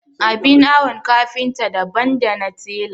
Abin awon kafinta daban dana tela.